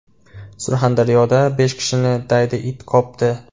Surxondaryoda besh kishini daydi it qopdi.